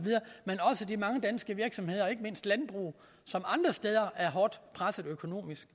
de mange danske virksomheder og ikke mindst landbruget som andre steder er hårdt presset økonomisk